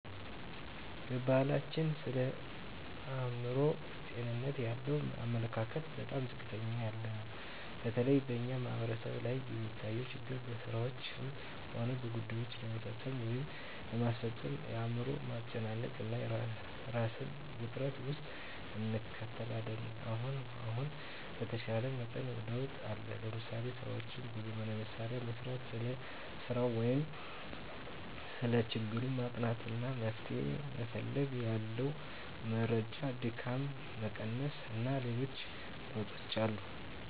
በባሕላችን ስለ አእምሮ ጤንነት ያለን አመለካከት በጣም ዝቅ ያለ ነው። በተለይ በእኛ ማሕበረሰብ ላይ የሚታየው ችግር ስራዎችንም ሆነ ጉዳይዎችን ለመፈፀም ወይም ለማስፈፀም አእምሮን ማጨናነቅ እና እራስን ውጥረት ውስጥ እንከታለን። አሁን አሁን በተሻለ መጠን ለውጥ አለ። ለምሳሌ፦ ስራዎችን በዘመናዊ መሣሪያ መሥራት፣ ስለ ሰራው ወይም ሰለ ችግሩ ማጥናት አና መፍትሔ መፈለግ፣ ያለ መረጃ ድካምን መቀነስ አና ሌሎችም ለውጦች አሉ።